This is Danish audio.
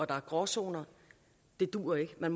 der er gråzoner det duer ikke man